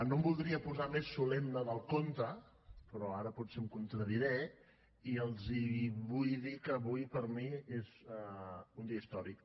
no em voldria posar més solemne del compte però ara potser em contradiré i els vull dir que avui per a mi és un dia històric